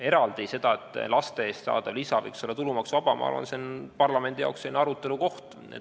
See, et laste eest saadav lisa võiks olla tulumaksuvaba, on minu arvates parlamendi jaoks eraldi arutelukoht.